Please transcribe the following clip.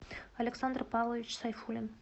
александр павлович сайфулин